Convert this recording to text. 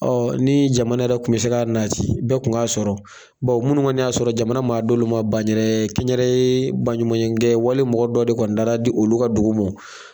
ni jamana yɛrɛ kun bɛ se k'a nati bɛɛ tun ŋ'a sɔrɔ munnu ŋɔni y'a sɔrɔ jamana m'a d'olu ma banyɛrɛ kɛ n yɛrɛ yee baɲumayenkɛ wali mɔgɔ dɔ de kɔni dara di olu ka dugu mɔ.